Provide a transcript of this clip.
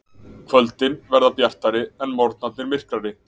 Kvöldin verði bjartari en morgnarnir myrkari